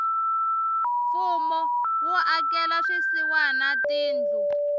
mfumo wu akela swisiwana tindlu